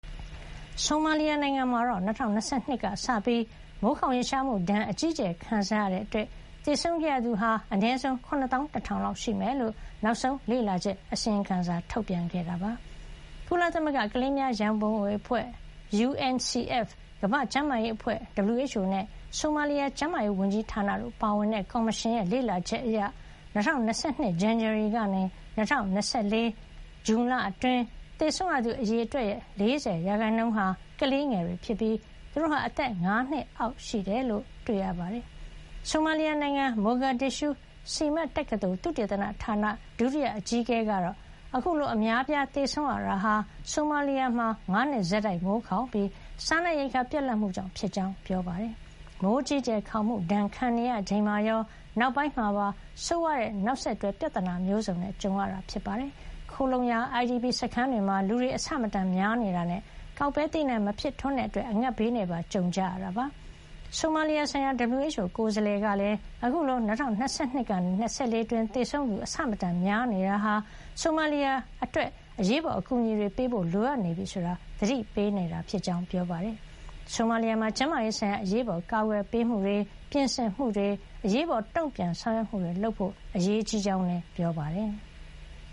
ဆိုမာလီယာ နိုင်ငံမှာ ၂၀၂၂ ခုနှစ်ကစပြီး မိုးခေါင်ရေရှားမှုဒဏ် အကြီးအကျယ်ခံစားရတာကြောင့် သေဆုံးခဲ့ရသူ အနည်းဆုံး ၇ သောင်း ၁ ထောင် လောက်ရှိမယ်လို့ နောက်ဆုံး လေ့လာချက်အစီရင်ခံစာမှာ ဖေါ်ပြထားပါတယ်။ ကုလသမဂ္ဂ ကလေးများရံပုံငွေ အဖွဲ့ UNCF ၊ ကမ္ဘာ့ကျန်းမာရေးအဖွဲ့ WHO နဲ့ ဆိုမာလီယာ ကျန်းမာရေး ဝန်ကြီးဌာန တို့ပါဝင်တဲ့ ကော်မရှင်ရဲ့ လေ့လာချက်အရ ၂၀၂၂ ဇန်နဝါရီ ကနေ ၂၀၂၄ ခုနှစ် ဇွန်လ အတွင်း သေဆုံးရသူ အရေအတွက်ရဲ့ ၄၀ % ဟာ ကလေးငယ်တွေ ဖြစ်ပြီး သူတို့ဟာ အသက် ၅ နှစ်အောက်တွေ ဖြစ်ကြောင်း တွေ့ရပါတယ်။ ဆိုမာလီယာ နိုင်ငံ မိုဂါဒစ်ရှုး SIMAD တက္ကသိုလ် သုတေသနဌာန ဒုတိယ အကြီးအကဲ ကတော့ အခုလို အများ အပြား သေဆုံးရတာဟာ ဆိုမာလီယာ မှာ ၅ နှစ် ဆက်တိုက် မိုးခေါင်ပြီး စားနပ်ရိက္ခာ ပြတ်လပ်မှုကြောင့် ဖြစ်ကြောင်း ပြောပါတယ်။ မိုးအကြီးအကျယ် ခေါင်မှု ဒဏ်ခံရ ချိန်မှာရော နောက်ပိုင်းမှာပါ ဆိုးဝါးတဲ့ နောက်ဆက်တွဲ ပြဿနာမျိုးစုံနဲ့ ကြုံခဲ့ရတာပါ။ ခိုလှုံရာ IDP စခန်းတွေမှာ လူတွေ အဆမတန် များနေတာနဲ့ ကောက်ပဲ သီးနှံ မဖြစ်ထွန်းတဲ့ အတွက် အငတ်ဘေးနဲ့ပါ ကြုံကြရတာဖြစ်ပါတယ်။ ဆိုမာလီယာ ဆိုင်ရာ WHO ကိုယ်စားလှယ်ကလည်း အခုလို ၂၀၂၂ ကနေ ၂၀၂၄ အတွင်း သေဆုံးသူ အဆမတန်များ နေတာဟာ ဆိုမာလီယာ အတွက် အရေးပေါ် အကူအညီတွေ ပေးဖို့ လိုအပ်နေပြီဆိုတာ သတိပေး နေတာ ဖြစ်ကြောင်း ပြောပါတယ်။ ဆိုမာလီယာမှာ ကျန်းမာရေး ဆိုင်ရာ အရေးပေါ် ကာကွယ်ပေးမှုတွေ၊ ပြင်ဆင်မှုတွေ၊ အရေးပေါ် တုံပြန်ဆောင်ရွက်မှုတွေ လုပ်ဖို့ အရေးကြီးကြောင်းလည်း ပြောပါတယ်။